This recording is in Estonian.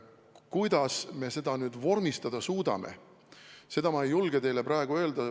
Kuidas me selle vormistada suudame, seda ma ei julge teile praegu öelda.